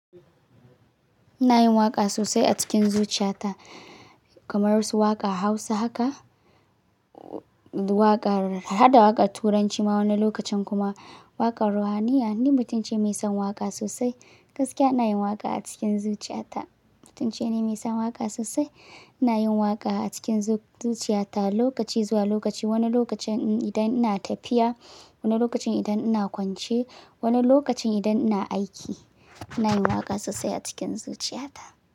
Ina yin waƙa sosai a cikin zuciyata, kamar su waƙa Hausa haka, waƙar, haɗa waƙar Turanci ma wani lokacin kuma waƙar ruhaniya. Ni mutum ce mai son waƙa sosai, gaskiya ina yin waƙa a cikin zuciyata. Mutum ce ni mai son waƙa sosai, ina yin waƙa a cikin zuciyata lokaci zuwa lokaci. Wani lokacin idan ina tafiya, wani lokacin idan ina kwance, wani lokacin idan ina aiki, ina yin waƙa sosai a cikin zuciyata.